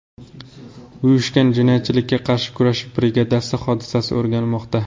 Uyushgan jinoyatchilikka qarshi kurash brigadasi hodisani o‘rganmoqda.